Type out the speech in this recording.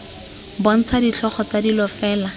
bontsha ditlhogo tsa dilo fela